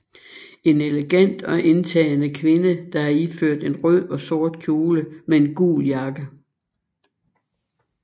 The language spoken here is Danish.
En elegant og indtagende kvinde der er iført en rød og sort kjole med en gul jakke